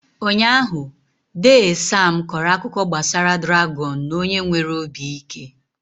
Ụnyaahụ, dee Sam kọrọ akụkọ gbasara dràgọn na onye nwere obi ike.